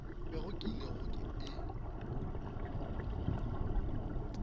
bego ke ile go e